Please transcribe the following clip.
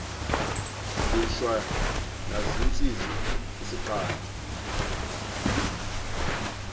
lishwa nazintsizi isiqalo